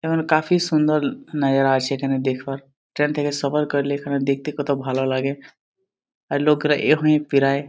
এখানে কাফি সুন্দর নাজারা আছে এখানে দেখবার। ট্রেন থেকে সফর করলে এখানে দেখতে কত ভালো লাগে। আর লোকরা এহুয়ে পেরায়।